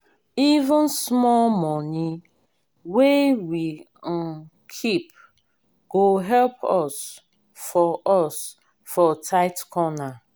even small money wey we um keep go help us for us for tight corner.